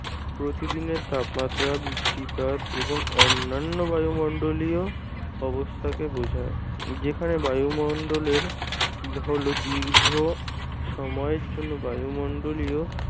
প্রতিদিনের তাপমাত্রা বৃষ্টিপাত এবং অন্যান্য বায়ুমন্ডলীয় অবস্থাকে বোঝায়। যেখানে বায়ুমন্ডলের হল দীর্ঘ সময়ের জন্য বায়ুমন্ডলীয়